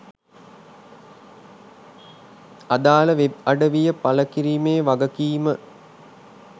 අදාළ වෙබ් අඩවිය පළ කිරීමේ වගකීම